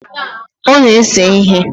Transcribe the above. Ọ na-ese ihe.